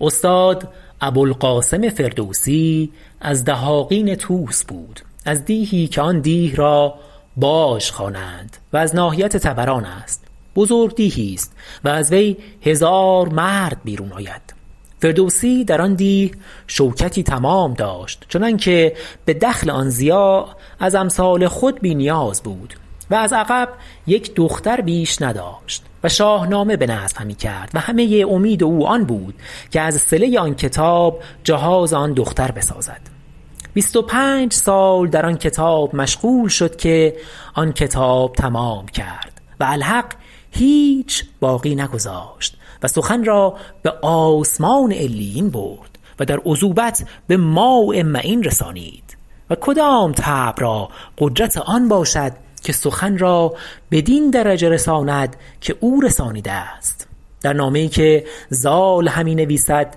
استاد ابو القاسم فردوسی از دهاقین طوس بود از دیهی که آن دیه را باژ خوانند و از ناحیت طبران است بزرگ دیهی است و از وی هزار مرد بیرون آید فردوسی در آن دیه شوکتی تمام داشت چنان که به دخل آن ضیاع از امثال خود بی نیاز بود و از عقب یک دختر بیش نداشت و شاهنامه بنظم همی کرد و همه امید او آن بود که از صله آن کتاب جهاز آن دختر بسازد بیست و پنج سال در آن کتاب مشغول شد که آن کتاب تمام کرد و الحق هیچ باقی نگذاشت و سخن را به آسمان علیین برد و در عذوبت به ماء معین رسانید و کدام طبع را قدرت آن باشد که سخن را بدین درجه رساند که او رسانیده است در نامه ای که زال همی نویسد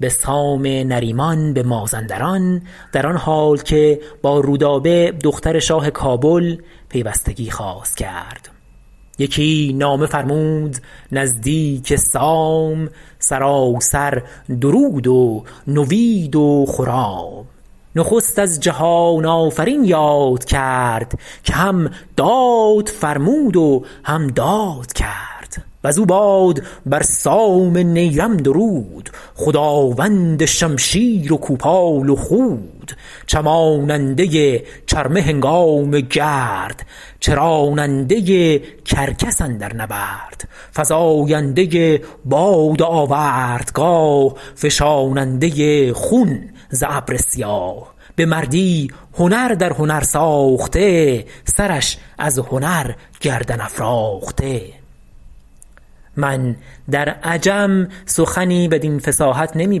به سام نریمان بمازندران در آن حال که با رودابه دختر شاه کابل پیوستگی خواست کرد یکی نامه فرمود نزدیک سام سراسر درود و نوید و خرام نخست از جهان آفرین یاد کرد که هم داد فرمود و هم داد کرد وزو باد بر سام نیرم درود خداوند شمشیر و کوپال و خود چماننده چرمه هنگام گرد چراننده کرکس اندر نبرد فزاینده باد آوردگاه فشاننده خون ز ابر سیاه به مردی هنر در هنر ساخته سرش از هنر گردن افراخته من در عجم سخنی بدین فصاحت نمی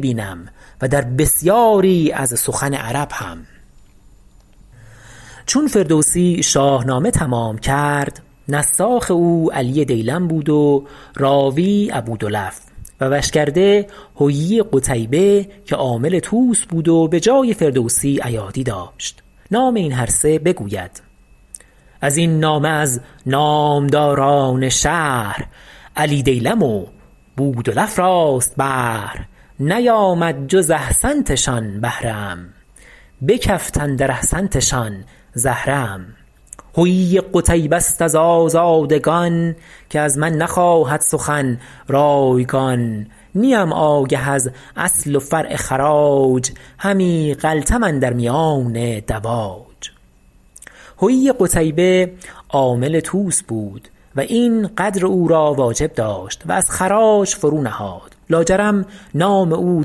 بینم و در بسیاری از سخن عرب هم چون فردوسی شاهنامه تمام کرد نساخ او علی دیلم بود و راوی ابودلف و وشکرده حیی قتیبه که عامل طوس بود و بجای فردوسی ایادی داشت نام این هر سه بگوید از این نامه از نامداران شهر علی دیلم و بودلف راست بهر نیامد جز احسنتشان بهره ام بکفت اندر احسنتشان زهره ام حیی قتیبه ست از آزادگان که از من نخواهد سخن رایگان نیم آگه از اصل و فرع خراج همی غلطم اندر میان دواج حیی قتیبه عامل طوس بود و اینقدر او را واجب داشت و از خراج فرو نهاد لا جرم نام او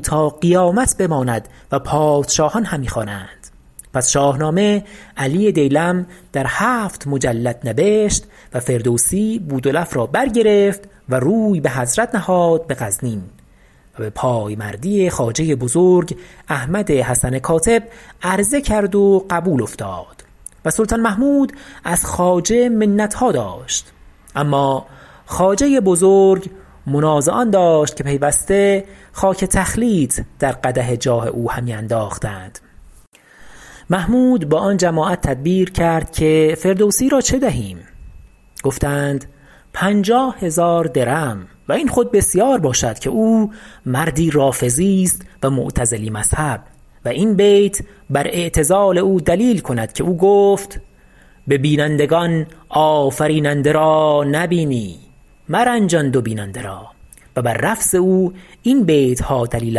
تا قیامت بماند و پادشاهان همی خوانند پس شاهنامه علی دیلم در هفت مجلد نبشت و فردوسی بودلف را برگرفت و روی به حضرت نهاد به غزنین و به پایمردی خواجه بزرگ احمد حسن کاتب عرضه کرد و قبول افتاد و سلطان محمود از خواجه منتها داشت اما خواجه بزرگ منازعان داشت که پیوسته خاک تخلیط در قدح جاه او همی انداختند محمود با آن جماعت تدبیر کرد که فردوسی را چه دهیم گفتند پنجاه هزار درم و این خود بسیار باشد که او مردی رافضی است و معتزلی مذهب و این بیت بر اعتزال او دلیل کند که او گفت به بینندگان آفریننده را نبینی مرنجان دو بیننده را و بر رفض او این بیتها دلیل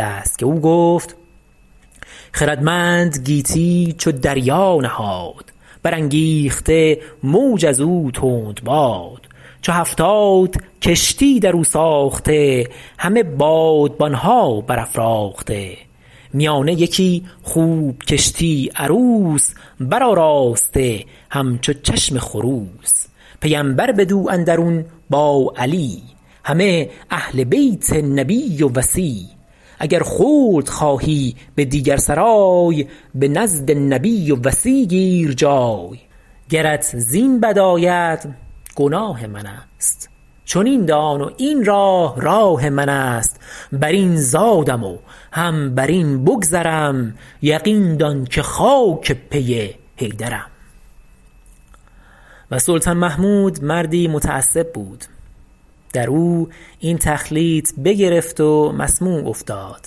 است که او گفت خردمند گیتی چو دریا نهاد برانگیخته موج از او تند باد چو هفتاد کشتی در او ساخته همه بادبانها برافراخته میانه یکی خوب کشتی عروس برآراسته همچو چشم خروس پیمبر بدو اندرون با علی همه اهل بیت نبی و وصی اگر خلد خواهی به دیگر سرای به نزد نبی و وصی گیر جای گرت زین بد آید گناه من است چنین دان و این راه راه من است بر این زادم و هم بر این بگذرم یقین دان که خاک پی حیدرم و سلطان محمود مردی متعصب بود در او این تخلیط بگرفت و مسموع افتاد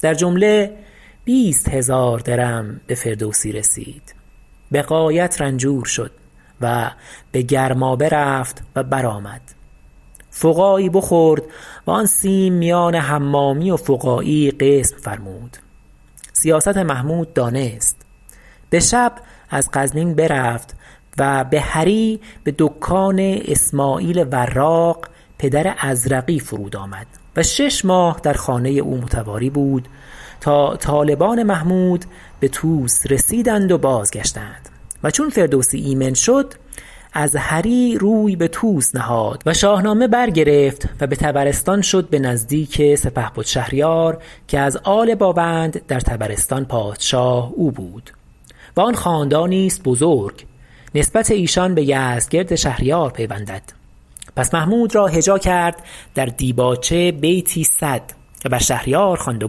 در جمله بیست هزار درم بفردوسی رسید به غایت رنجور شد و به گرمابه رفت و برآمد فقاعی بخورد و آن سیم میان حمامی و فقاعی قسم فرمود سیاست محمود دانست بشب از غرنین برفت و به هری به دکان اسمعیل وراق پدر ازرقی فرود آمد و شش ماه در خانه او متواری بود تا طالبان محمود به طوس رسیدند و بازگشتند و چون فردوسی ایمن شد از هری روی به طوس نهاد و شاهنامه برگرفت و به طبرستان شد به نزدیک سپهبد شهریار که از آل باوند در طبرستان پادشاه او بود و آن خاندانی است بزرگ نسبت ایشان بیزدگرد شهریار پیوندند پس محمود را هجا کرد در دیباچه بیتی صد و بر شهریار خواند و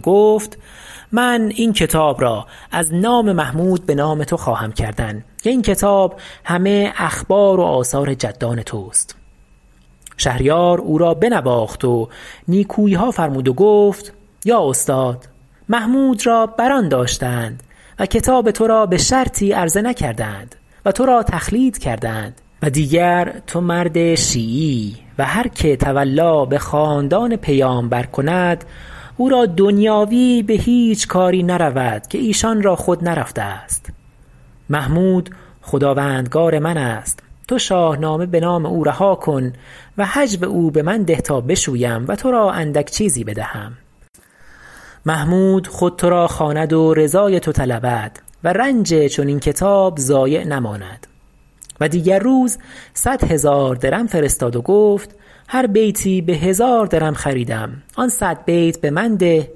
گفت من این کتاب را از نام محمود به نام تو خواهم کردن که این کتاب همه اخبار و آثار جدان توست شهریار او را بنواخت و نیکوییها فرمود و گفت یا استاد محمود را بر آن داشتند و کتاب ترا بشرطی عرضه نکردند و ترا تخلیط کردند و دیگر تو مرد شیعییی و هر که تولی به خاندان پیامبر کند او را دنیاوی به هیچ کاری نرود که ایشان را خود نرفته است محمود خداوندگار من است تو شاهنامه به نام او رها کن و هجو او به من ده تا بشویم و تو را اندک چیزی بدهم محمود خود تو را خواند و رضای تو طلبد و رنج چنین کتاب ضایع نماند و دیگر روز صد هزار درم فرستاد و گفت هر بیتی به هزار درم خریدم آن صد بیت به من ده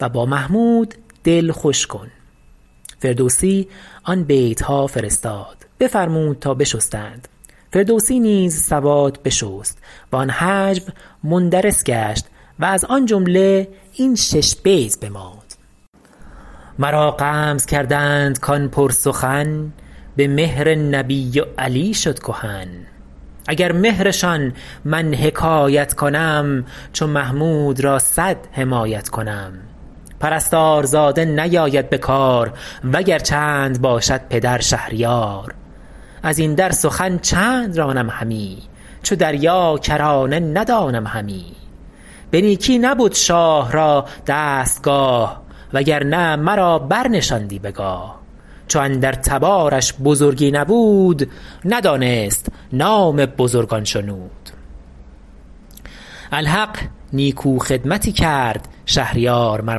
و با محمود دل خوش کن فردوسی آن بیتها فرستاد بفرمود تا بشستند فردوسی نیز سواد بشست و آن هجو مندرس گشت و از آن جمله شش بیت بماند مرا غمز کردند کان پرسخن به مهر نبی و علی شد کهن اگر مهرشان من حکایت کنم چو محمود را صد حمایت کنم پرستار زاده نیاید بکار وگر چند باشد پدر شهریار از این در سخن چند رانم همی چو دریا کرانه ندانم همی به نیکی نبد شاه را دستگاه وگرنه مرا برنشاندی بگاه چو اندر تبارش بزرگی نبود ندانست نام بزرگان شنود الحق نیکو خدمتی کرد شهریار مر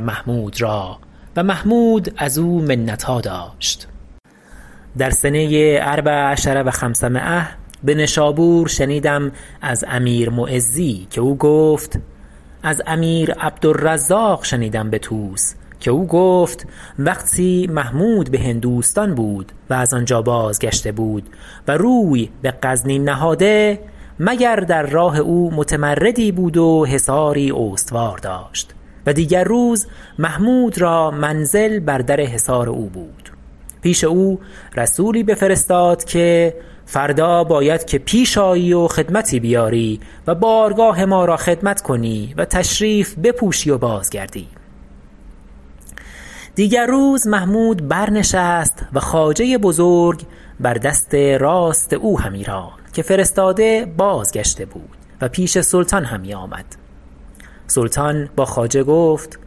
محمود را و محمود از او منتها داشت در سنه اربع عشرة و خمسمایة به نشابور شنیدم از امیر معزی که او گفت از امیر عبدالرزاق شنیدم به طوس که او گفت وقتی محمود بهندوستان بود و از آنجا بازگشته بود و روی به غزنین نهاده مگر در راه او متمردی بود و حصاری استوار داشت و دیگر روز محمود را منزل بر در حصار او بود پیش او رسولی بفرستاد که فردا باید که پیش آیی و خدمتی بیاری و بارگاه ما را خدمت کنی و تشریف بپوشی و باز گردی دیگر روز محمود بر نشست و خواجه بزرگ بر دست راست او همی راند که فرستاده بازگشته بود و پیش سلطان همی آمد سلطان با خواجه گفت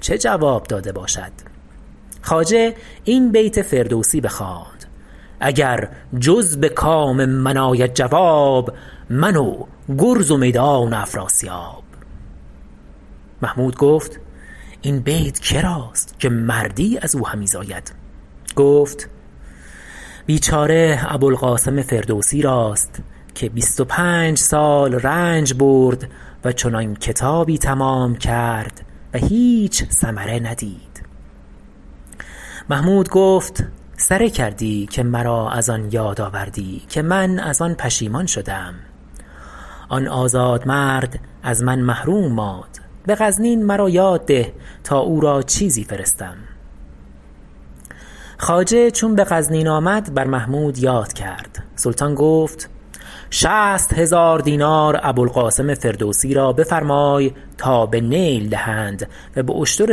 چه جواب داده باشد خواجه این بیت فردوسی بخواند اگر جز بکام من آید جواب من و گرز و میدان و افراسیاب محمود گفت این بیت کراست که مردی ازو همی زاید گفت بیچاره ابوالقاسم فردوسی راست که بیست و پنج سال رنج برد و چنان کتابی تمام کرد و هیچ ثمره ندید محمود گفت سره کردی که مرا از آن یاد آوردی که من از آن پشیمان شده ام آن آزادمرد از من محروم ماند به غزنین مرا یاد ده تا او را چیزی فرستم خواجه چون به غزنین آمد بر محمود یاد کرد سلطان گفت شصت هزار دینار ابوالقاسم فردوسی را بفرمای تا به نیل دهند و به اشتر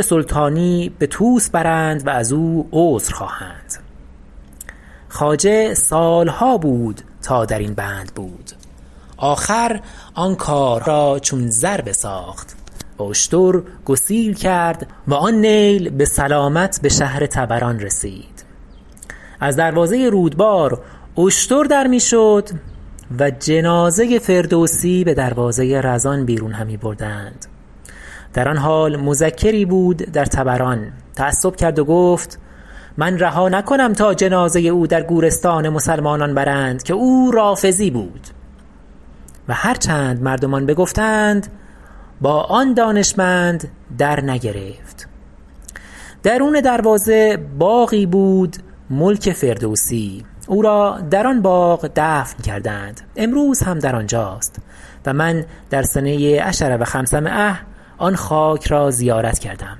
سلطانی به طوس برند و از او عذر خواهند خواجه سالها بود تا در این بند بود آخر آن کار را چون زر بساخت و اشتر گسیل کرد و آن نیل به سلامت به شهر طبران رسید از دروازه رودبار اشتر در می شد و جنازه فردوسی به دروازه رزان بیرون همی بردند در آن حال مذکری بود در طبران تعصب کرد و گفت من رها نکنم تا جنازه او در گورستان مسلمانان برند که او رافضی بود و هر چند مردمان بگفتند با آن دانشمند درنگرفت درون دروازه باغی بود ملک فردوسی او را در آن باغ دفن کردند امروز هم در آنجاست و من در سنه عشر و خمسمایة آن خاک را زیارت کردم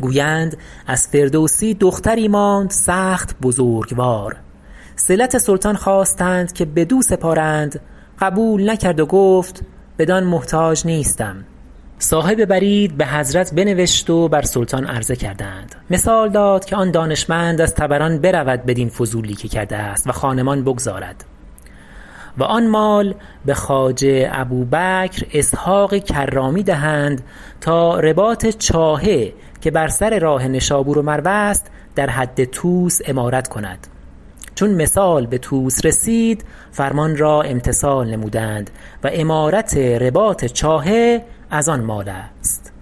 گویند از فردوسی دختری ماند سخت بزرگوار صلت سلطان خواستند که بدو سپارند قبول نکرد و گفت بدان محتاج نیستم صاحب برید به حضرت بنوشت و بر سلطان عرضه کردند مثال داد که آن دانشمند از طبران برود بدین فضولی که کرده است و خانمان بگذارد و آن مال به خواجه ابوبکر اسحق کرامی دهند تا رباط چاهه که بر سر راه نشابور و مرو است در حد طوس عمارت کند چون مثال به طوس رسید فرمان را امتثال نمودند و عمارت رباط چاهه از آن مال است